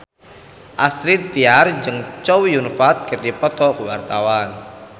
Astrid Tiar jeung Chow Yun Fat keur dipoto ku wartawan